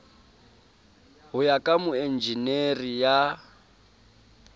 ho ya ka moenjenere ya